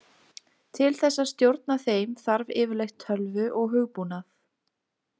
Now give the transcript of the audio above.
Til þess að stjórna þeim þarf yfirleitt tölvu og hugbúnað.